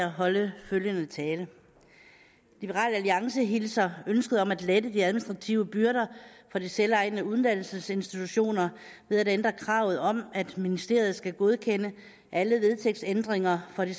holde følgende tale liberal alliance hilser ønsket om at lette de administrative byrder for de selvejende uddannelsesinstitutioner ved at ændre kravet om at ministeriet skal godkende alle vedtægtsændringer for de